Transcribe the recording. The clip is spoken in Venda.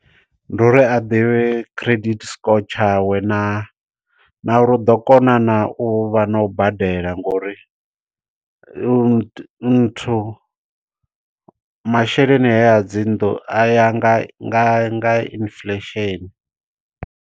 Ndi uri a ḓivhe credit score tshawe, na na uri u ḓo kona naa u vha na u badela, ngo uri nthu masheleni haya a dzinnḓu a ya nga nga inflation.